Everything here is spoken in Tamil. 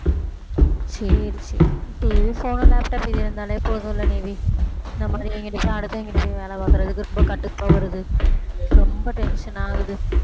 சரி சரி TVphone, laptop இது இருந்தாலே போதும்ல நிவி அடுத்தவங்ககிட்ட போய் வேலை பார்க்கிறதுக்கு ரொம்ப கடுப்பா வருது, ரொம்ப tension ஆகுது